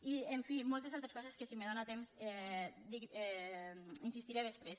i en fi moltes altres coses en què si me dóna temps insistiré després